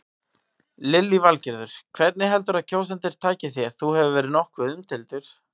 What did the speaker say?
Lillý Valgerður: Hvernig heldurðu að kjósendur taki þér, þú hefur verið nokkuð umdeildur?